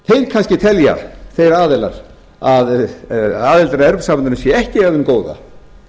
kannski telja þeir aðilar að aðldin að evrópusambandinu sé ekki af hinu góða